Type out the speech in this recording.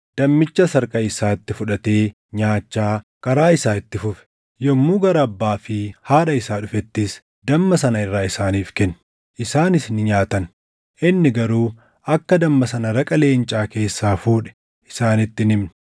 dammichas harka isaatti fudhatee nyaachaa karaa isaa itti fufe. Yommuu gara abbaa fi haadha isaa dhufettis damma sana irraa isaaniif kenne; isaanis ni nyaatan. Inni garuu akka damma sana raqa leencaa keessaa fuudhe isaanitti hin himne.